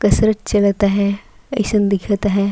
कसरत चलता आहय अइ सन दिखत अहय।